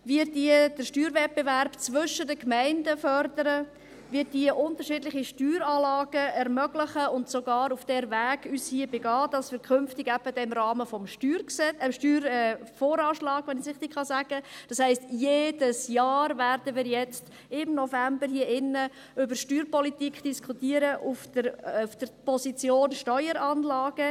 Wir fördern den Steuerwettbewerb zwischen den Gemeinden, wir ermöglichen unterschiedliche Steueranlagen und begeben uns sogar auf diesen Weg, damit wir künftig dann im Rahmen des Steuervoranschlags ... Das heisst, jedes Jahr im November werden wir nun hier in diesem Saal über Steuerpolitik diskutieren, auf der Position Steueranlage.